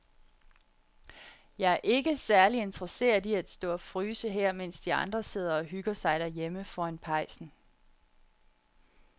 Jeg er ikke særlig interesseret i at stå og fryse her, mens de andre sidder og hygger sig derhjemme foran pejsen.